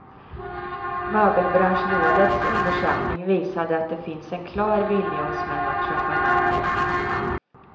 Möbelbranschrådets undersökning visade att det finns en klar vilja hos män att köpa möbler.